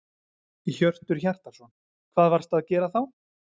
Hjörtur Hjartarson: Hvað varstu að gera þá?